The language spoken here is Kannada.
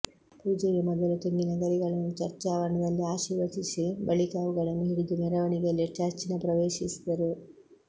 ಪೂಜೆಗೆ ಮೊದಲು ತೆಂಗಿನ ಗರಿಗಳನ್ನು ಚರ್ಚ್ ಆವರಣದಲ್ಲಿ ಆಶೀರ್ವಚಿಸಿ ಬಳಿಕ ಅವುಗಳನ್ನು ಹಿಡಿದು ಮೆರವಣಿಗೆಯಲ್ಲಿ ಚರ್ಚ್ನ್ನು ಪ್ರವೇಶಿಸಿದರು